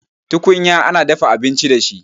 Tukunya ana dafa abinci da shi